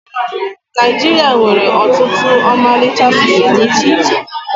Naịjiria nwere ọtụtụ ọmalịcha asụsụ dị iche iche